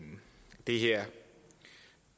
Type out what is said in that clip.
her